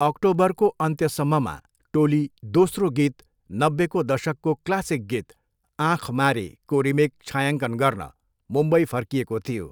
अक्टोबरको अन्त्यसम्ममा, टोली दोस्रो गीत नब्बेको दशकको क्लासिक गीत 'आंँख मारे' को रिमेक छायाङ्कन गर्न मुम्बई फर्किएको थियो।